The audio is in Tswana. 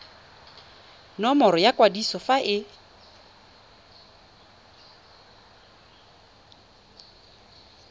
nomoro ya kwadiso fa e